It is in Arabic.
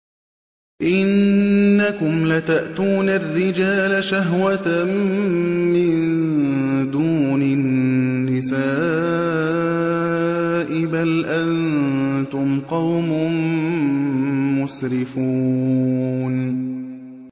إِنَّكُمْ لَتَأْتُونَ الرِّجَالَ شَهْوَةً مِّن دُونِ النِّسَاءِ ۚ بَلْ أَنتُمْ قَوْمٌ مُّسْرِفُونَ